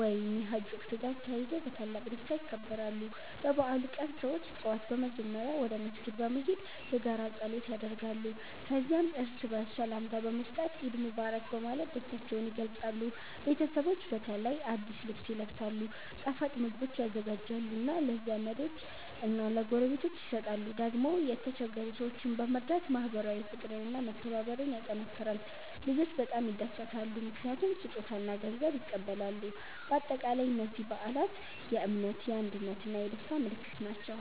ወይም የሐጅ ወቅት ጋር ተያይዞ በታላቅ ደስታ ይከበራሉ። በበዓሉ ቀን ሰዎች ጠዋት በመጀመሪያ ወደ መስጊድ በመሄድ የጋራ ጸሎት ያደርጋሉ። ከዚያም እርስ በርስ ሰላምታ በመስጠት “ኢድ ሙባረክ” በማለት ደስታቸውን ይገልጻሉ። ቤተሰቦች በተለይ አዲስ ልብስ ይለብሳሉ፣ ጣፋጭ ምግቦች ይዘጋጃሉ እና ለዘመዶች እና ለጎረቤቶች ይሰጣሉ። ደግሞ የችግኝ ሰዎችን በመርዳት ማህበራዊ ፍቅር እና መተባበር ይጠናከራል። ልጆች በጣም ይደሰታሉ ምክንያቱም ስጦታ እና ገንዘብ ይቀበላሉ። በአጠቃላይ እነዚህ በዓላት የእምነት፣ የአንድነት እና የደስታ ምልክት ናቸው።